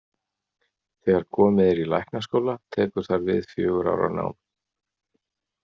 Þegar komið er í læknaskóla tekur þar við fjögurra ára nám.